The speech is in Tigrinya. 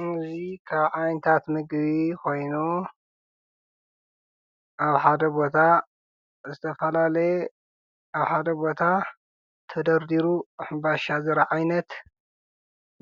ኢንዙይ ኻ ዓይንታት ምጊቢ ኾይኑ ኣብ ሓደ ቦታ እተፈላለየ ኣብ ሃደ ቦታ ተደርዲሩ ኅባሻ ዘራ ዓይነት